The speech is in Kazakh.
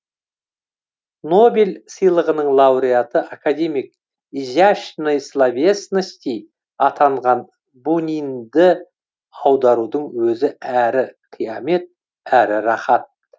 нобель сыйлығының лауреаты академик изящной словесности атанған бунинді аударудың өзі әрі қиямет әрі раһат